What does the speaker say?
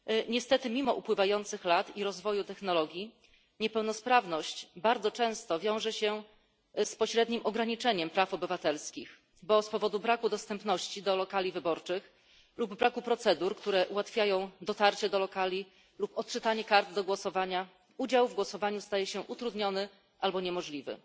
Niestety mimo upływających lat i rozwoju technologii niepełnosprawność bardzo często wiąże się z pośrednim ograniczeniem praw obywatelskich, bo z powodu braku dostępności do lokali wyborczych lub braku procedur, które ułatwiają dotarcie do lokali lub odczytanie kart do głosowania, udział w głosowaniu staje się utrudniony albo niemożliwy.